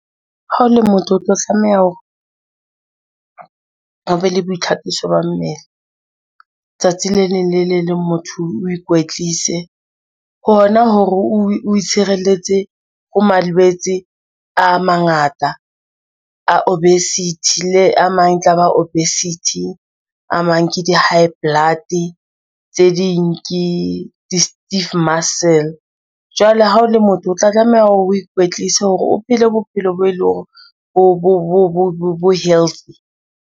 Ha o le motho, o tla tlameha hore o be le boitlhakiso ba mmele tsatsi le leng le le leng motho o ikwetlise hona hore o itshireletse ho malwetse a mangata a obesity le a mang, tlaba obesity. A mang ke di-high blood tse ding ke di-stiff muscle jwale ha o le motho, o tla tlameha hore o ikwetlise hore o phele bophelo bo e leng hore bo healthy.